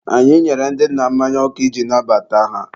anyị nyere ndị nna mmanya ọkụ iji nabata ha.